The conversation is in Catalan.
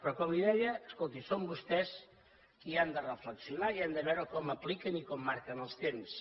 però com li deia escolti són vostès qui han de reflexionar i han de veure com apliquen i com marquen els temps